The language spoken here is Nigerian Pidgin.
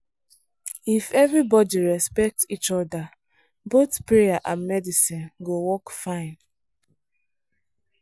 if everybody respect each other both prayer and medicine go work fine.